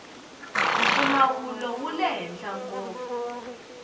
mpfumawulo wule henhla ngopfu